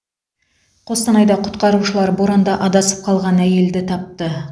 қостанайда құтқарушылар боранда адасып қалған әйелді тапты